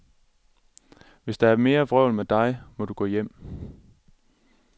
Hvis der er mere vrøvl med dig, må du gå hjem.